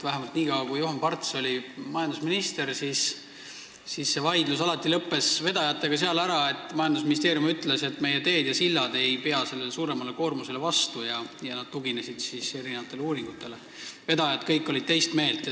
Vähemalt nii kaua, kui Juhan Parts oli majandusminister, lõppes see vaidlus vedajatega alati sellel kohal, kus majandusministeerium ütles erinevatele uuringutele tuginedes, et meie teed ja sillad ei pea sellele suuremale koormusele vastu, aga vedajad olid kõik teist meelt.